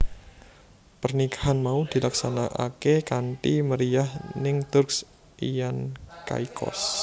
Pernikahan mau dilaksanakaké kanthi meriyah ning Turks lan Caicos